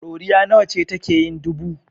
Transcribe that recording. Ɗoriya nawa ce take yin dubu?